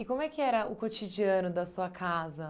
E como é que era o cotidiano da sua casa?